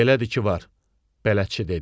Elədir ki var, bələdçi dedi.